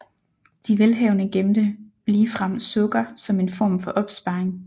De velhavende gemte ligefrem sukker som en form for opsparing